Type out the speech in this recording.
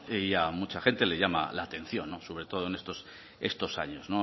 y a mucha gente le llama la atención sobre todo en estos años